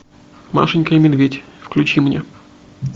машенька и медведь включи мне